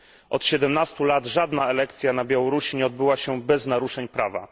Od 17 lat żadna elekcja na Białorusi nie odbyła się bez naruszeń prawa.